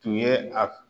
Tun ye a